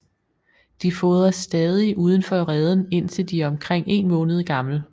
De fodres stadig udenfor reden indtil de er omkring en måned gamle